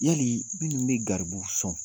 Minnu tun bɛ garibu sɔn